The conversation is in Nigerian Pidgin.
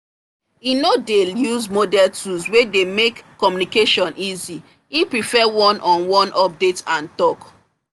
he no dey use modern tool wey dey make communication easy he prefer one on one update and talk